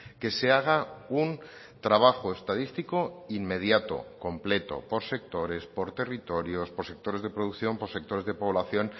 que se haga un trabajo estadístico inmediato completo por sectores por territorios por sectores de producción por sectores de población